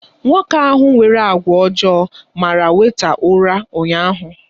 Nwoke ahụ nwere àgwà ọjọọ mara wèịta ura ụnyaahụ.